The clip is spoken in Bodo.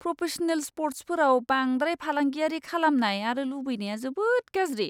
प्रफेशनेल स्पर्ट्सफोराव बांद्राय फालांगियारि खालामनाय आरो लुबैनाया जोबोद गाज्रि।